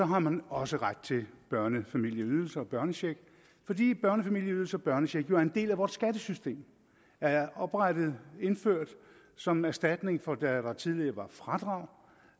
har man også ret til børnefamilieydelse og børnecheck fordi børnefamilieydelse og børnecheck jo er en del af vort skattesystem det er oprettet og indført som erstatning for da der tidligere var fradrag